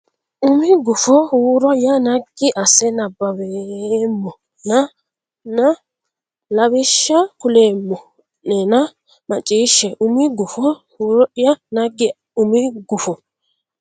umi gufo huuro ya naggi asse nabbaweemmoo nena lawishsha kuleemmo a neenna macciishshe umi gufo huuro ya naggi umi gufo.